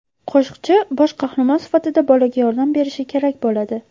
Qo‘shiqchi bosh qahramon sifatida bolaga yordam berishi kerak bo‘ladi.